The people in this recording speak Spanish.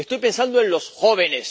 Estoy pensando en los jóvenes